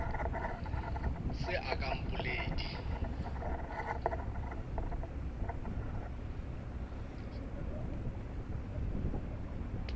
se a ka a mpoledi